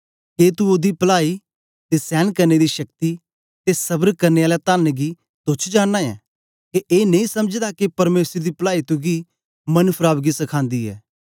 के तू ओदी पलाई ते सेंन करने दी शक्ति ते स्बर करने आला तन्न गी तोच्छ जानना ऐं के ए नेई समझदा के परमेसर दी पलाई तुगी मन फराव गी सखांदी ऐ